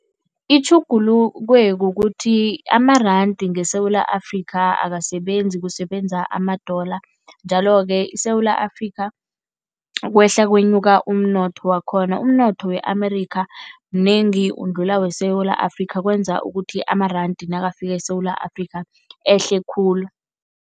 Itjhugulukwe kukuthi amarandi ngeSewula Afrika akasebenzi, kusebenza ama-dollar njalo-ke i-Sewula Afrika ukwehla kwenyuka umnotho wakhona. Umnotho we-America mnengi undlula weSewula Afrika kwenza ukuthi amarandi nakafika eSewula Afrika ehle khulu.